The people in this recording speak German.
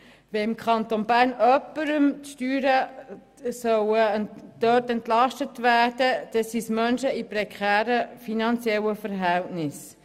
Wenn jemandem die Steuern erlassen werden sollen, dann Menschen in prekären finanziellen Verhältnissen.